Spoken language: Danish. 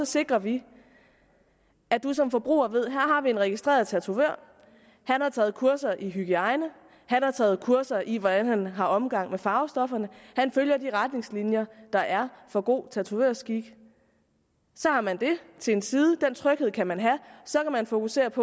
sikrer vi at man som forbruger ved har vi en registreret tatovør han har taget kurser i hygiejne han har taget kurser i hvordan han har omgang med farvestofferne han følger de retningslinjer der er for god tatovørskik så har man det til en side den tryghed kan man have så kan man fokusere på